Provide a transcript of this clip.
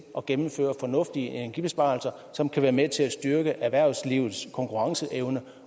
at gennemføre fornuftige energibesparelser som kan være med til at styrke erhvervslivets konkurrenceevne